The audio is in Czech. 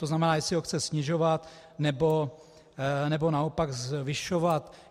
To znamená, jestli ho chce snižovat, nebo naopak zvyšovat.